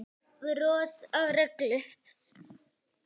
Brot á reglu.